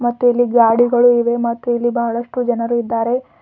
ಮತ್ತು ಇಲ್ಲಿ ಗಾಡಿಗಳು ಇವೆ ಮತ್ತು ಇಲ್ಲಿ ಬಹಳಷ್ಟು ಜನರು ಇದ್ದಾರೆ.